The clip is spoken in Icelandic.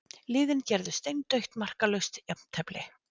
Liðin gerðu steindautt markalaust jafntefli